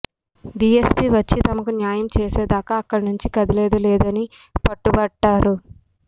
DSP వచ్చి తమకు న్యాయం చేసేదాకా అక్కడినుంచి కదిలేది లేదని పట్టుబట్టారు